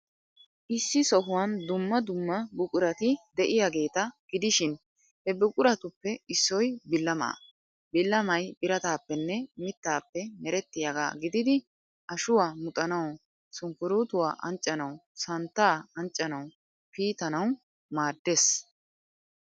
Issi sohuwan dumma dumma buqurati de'iyaageeta gidishin he buquratuppe issoy billamaa. Billamay birataappenne mittaappe merettiyaagaa gididi, ashuwaa muxanawu, sunkkuruutuwaa anccanawu, santtaa anccanawu, piitanawu maaddees.